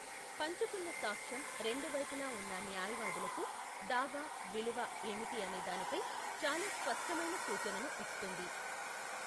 పంచుకున్న సాక్ష్యం రెండు వైపులా ఉన్న న్యాయవాదులకు దావా విలువ ఏమిటి అనే దానిపై చాలా స్పష్టమైన సూచనను ఇస్తుంది.